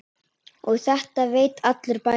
Og þetta veit allur bærinn?